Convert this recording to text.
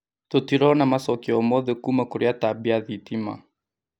Tũtirona macokio o mothe kũũma kũrĩ atambia a thitima